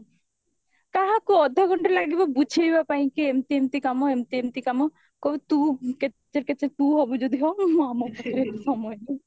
କାହାକୁ ଅଧ ଘଣ୍ଟେ ଲାଗିବ ବୁଝେଇବା ପାଇଁ କି ଏମତି ଏମତି କାମ ଏମତି ଏମତି କାମ କହିବେ ତୁ କେଚେରେ କେଚେରେ ତୁ ହବୁ ଯଦି ହ ମୁଁ ଆମ ପାଖରେ ଏତେ ସମୟ ନାହିଁ